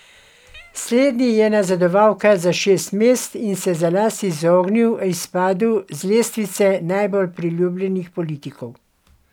Slednji je nazadoval kar za šest mest in se za las izognil izpadu z lestvice najbolj priljubljenih politikov.